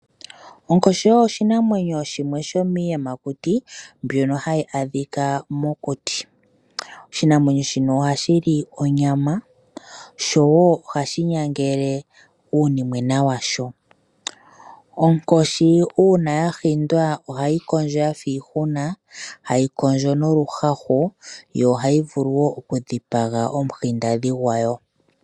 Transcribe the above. Onkoshi oyo oshinamwenyo shimwe sho miiiyamakuti mbyono haya adhika mokuti. Oshinamwenyo shino ohashi li onyama sho ohashi nyangele uunimwena washo. Onkoshi uuna ya hindwa ohayi kondjo yafa iihuna hayi kondjo noluhahu. Yo ohayi vulu wo okudhipaga omuhindadhi gwayo.